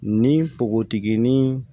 Ni npogotiginin